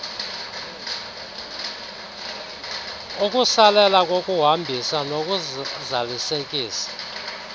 ukusalela kokuhambisa nokuzalisekisa